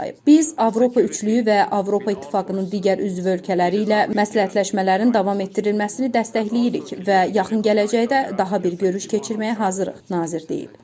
Biz Avropa üçlüyü və Avropa İttifaqının digər üzv ölkələri ilə məsləhətləşmələrin davam etdirilməsini dəstəkləyirik və yaxın gələcəkdə daha bir görüş keçirməyə hazırıq, nazir deyib.